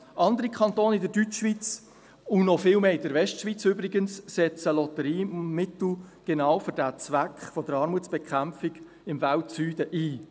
Andere Kantone in der Deutschschweiz, und noch viel mehr in der Westschweiz übrigens, setzen Lotteriemittel für genau diesen Zweck der Armutsbekämpfung im Weltsüden ein: